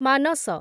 Manas